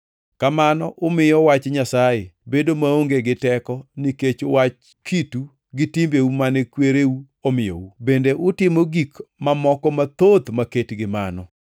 Kamano umiyo wach Nyasaye bedo maonge gi teko nikech wach kitu gi timbeu mane kwereu omiyou. Bende utimo gik mamoko mathoth maket gi mano.”